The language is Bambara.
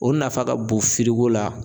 O nafa ka bon la.